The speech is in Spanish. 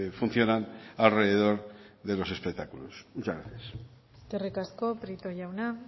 funcionan alrededor de los espectáculos muchas gracias eskerrik asko prieto jauna